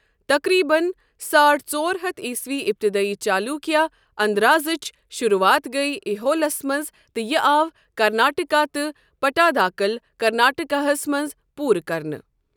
تقریباً ساڑ ژور ہتھ عیسوی ابتدٲئی چالوکیہ اَنٛدازٕچ شروعات گیۍ ایہولَس منٛز تہٕ یہِ آو کرناٹٕکا تہٕ پٹاداکل، کرناٹکا ہَس منٛز پوٗرٕ کرنہٕ۔